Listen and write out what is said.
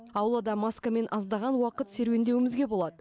аулада маскамен аздаған уақыт серуендеуімізге болады